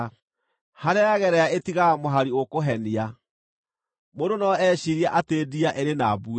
Harĩa yagerera ĩtigaga mũhari ũkũhenia; mũndũ no eciirie atĩ ndia ĩrĩ na mbuĩ.